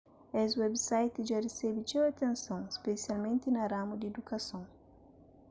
es websites dja resebe txeu atenson spesialmenti na ramu di idukason